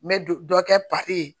N bɛ du dɔ kɛ papiye